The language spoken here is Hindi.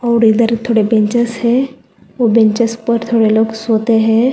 और इधर थोड़े बेंचेस है वो बेंचेस पर हम लोग सोते है।